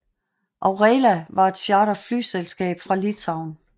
Aurela var et charterflyselskab fra Litauen